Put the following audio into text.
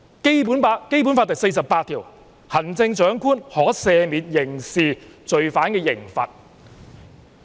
《基本法》第四十八條規定，行政長官可"赦免或減輕刑事罪犯的刑罰"。